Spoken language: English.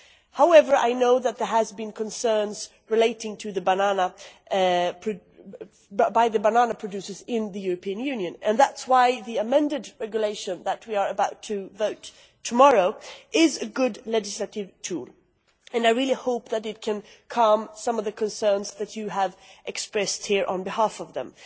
However, I know that there have been concerns by banana producers in the European Union, and that is why the amended regulation that we are about to vote on tomorrow is a good legislative tool, and I really hope that it can calm some of the concerns that you have expressed here on behalf of them.